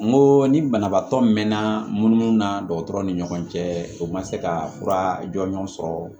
N ko ni banabaatɔ mɛɛna munumunu na dɔgɔtɔrɔ ni ɲɔgɔn cɛ o ma se ka fura jɔnjɔn sɔrɔ